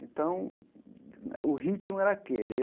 Então, o ritmo era aquele.